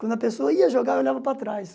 Quando a pessoa ia jogar, eu olhava para trás.